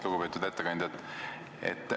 Lugupeetud ettekandja!